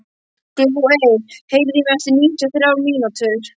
Glóey, heyrðu í mér eftir níutíu og þrjár mínútur.